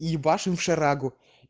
и ебашим в шарагу